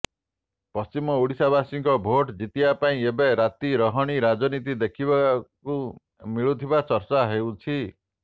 ପଶ୍ଚିମ ଓଡ଼ିଶାବାସୀଙ୍କ ଭୋଟ ଜିତିବା ପାଇଁ ଏବେ ରାତି ରହଣି ରାଜନୀତି ଦେଖିବାକୁ ମିଳୁଥିବା ଚର୍ଚା ହେଉଛି